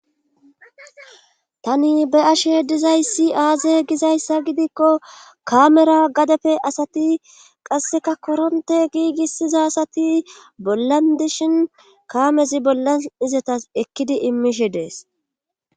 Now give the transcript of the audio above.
Tani be7ashe dizay aaze gizyassa gidikko kaamera gadepe asati qasseka korontte giigissiza asati bollan dishi kaamezi bllan etana ekkidi efiidi dees.